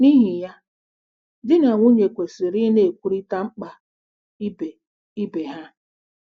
N’ihi ya, di na nwunye kwesịrị ịna-ekwurịta mkpa ibe ibe ha.